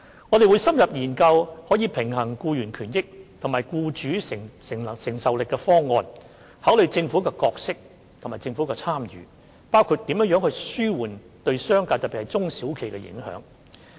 我們會深入研究可平衡僱員權益和僱主承擔能力的方案，考慮政府的角色和政府的參與，包括如何紓緩對商界的影響，特別是對中小企的影響。